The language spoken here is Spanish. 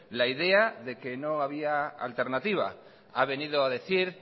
la idea de que no había alternativa ha venido a decir